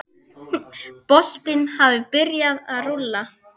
Boltinn hafi byrjað að rúlla.